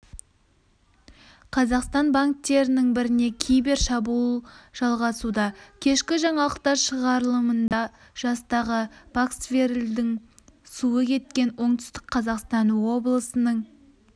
қазақстан банктерінің біріне кибер шабуыл жалғасуда кешкі жаңалықтар шығарылымында жастағы пасквареллдің суы кеткен оңтүстік қазақстан облысының